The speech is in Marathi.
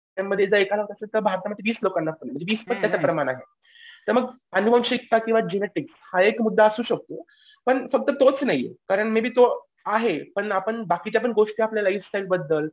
भारतामध्ये वीस लोकांना म्हणजे वीस लोकांचं प्रमाण आहे. तर मग अनुवंशिकता किंवा जेनेटिक्स हा एक मुद्दा असू शकतो. पण फक्त तोच नाही कारण मे बी तो आहे पण बाकीच्या पण गोष्टी आपल्या लाईफ स्टाईल बद्दल